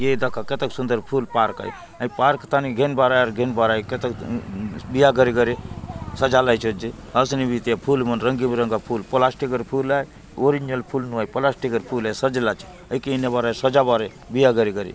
ऐ दखा कत क सुन्दर फूल पार्क आय अहि पार्क तने घेन बारायार गहन बारा एकत तत उ बिया घरे घरे सजा लये चे जे असेन वीतये फूल म रंग बे रंगा फूल प्लास्टिगर फूल है ओरिजिनल फूल नोइ प्लास्टिगर फुल आय सजला आचे एकी इन्हे बराई सजा वारे विया गरे गरे --